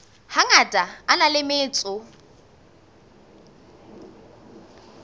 hangata a na le metso